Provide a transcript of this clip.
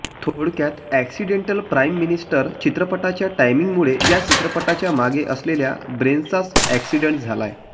थोडक्यात accidental prime minister चित्रपटाच्या टायमिंगमुळे या चित्रपटाच्या मागे असलेल्या ब्रेनचाच अॅक्सिडंट झालाय